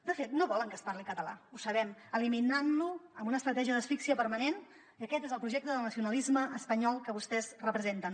de fet no volen que es parli català ho sabem eliminant lo amb una estratègia d’asfíxia permanent aquest és el projecte del nacionalisme espanyol que vostès representen